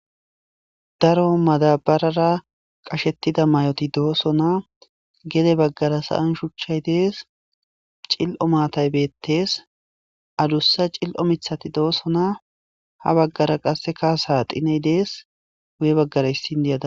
Daro madabarara qashetida mayoti dosona gede bagara sa'an shuchay des cilo maatay betese adusa cilo mithati dosona ha bagara qasekka saxiney des guye bagara issi indiya dawusu